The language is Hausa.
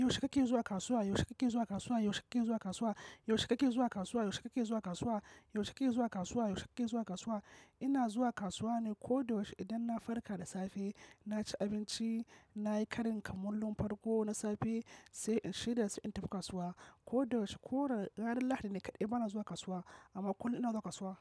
Yaushe kake zuwa kasuwa? Yaushe kake zuwa kasuwa? Yaushe kake zuwa kasuwa? Yaushe kake zuwa kasuwa? Yaushe kake zuwa kasuwa? Yaushe kake zuwa kasuwa? Yaushe kake zuwa kasuwa? Ina zuwa kasuwa ne ko da yaushe idan na farka da safe, na ci abinci, nayi karin kamulun farko na safe sai shirya sai in tafi kasuwa. Ko da sh-ko ranar Lahadi ne kaɗai bana zuwa kasuwa amma kullum ina zuwa kasuwa.